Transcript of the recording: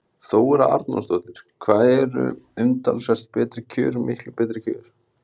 Þóra Arnórsdóttir: Hvað eru umtalsvert betri kjör miklu betri kjör?